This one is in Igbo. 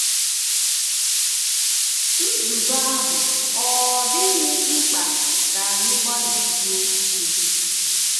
Nzube ahụ ọ̀ dịghị mkpa ka anyị gbalịsie ike?